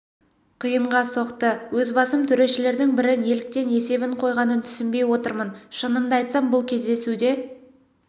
қиынға соқты өз басым төрешілердің бірі неліктен есебін қойғанын түсінбей отырмын шынымды айтсам бұл кездесуде